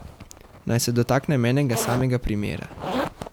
Naj se dotaknem enega samega primera.